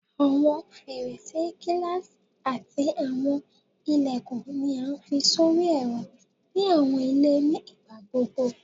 Awọn ferese gilasi ati awọn ilẹkun ni a fi sori ẹrọ ni awọn ile ni igbagbogbo